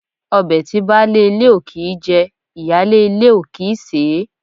Ọbẹ̀ tí baálé ilé ò kìí jẹ, ìyáálé ilé ò kì í sèé.